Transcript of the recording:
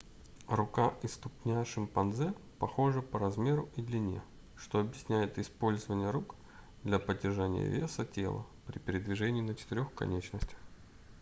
рука и ступня шимпанзе похожи по размеру и длине что объясняет использование рук для поддержания веса тела при передвижении на четырёх конечностях